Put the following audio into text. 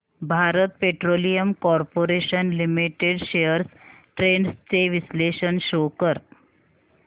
Bharat petroleum corporation limited shares trends चे विश्लेषण show कर